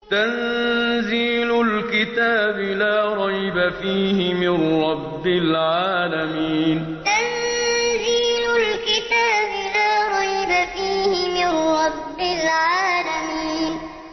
تَنزِيلُ الْكِتَابِ لَا رَيْبَ فِيهِ مِن رَّبِّ الْعَالَمِينَ تَنزِيلُ الْكِتَابِ لَا رَيْبَ فِيهِ مِن رَّبِّ الْعَالَمِينَ